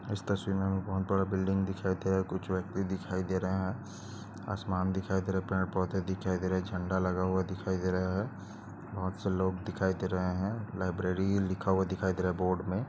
इस तस्वीर मे हमे बहुत बड़ा बिल्डिंग दिखाई दे रहा है। कुछ व्यक्ति दिखाई दे रहे है। आसमान दिखाई दे रहा है। पेड़ पौधे दिखाई दे रहे। झेंडा लगा हुआ दिखाई दे रही बहुत से लोग दिखाई दे रहे है। लाइब्रेरी लिखा हुआ दिखाई दे रहा है बोर्ड मे।